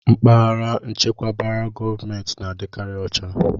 Mpaghara echekwabara gọọmentị na-adịkarị ucha.